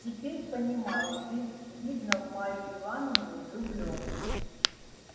теперь понимаю ты видно в марью ивановну влюблён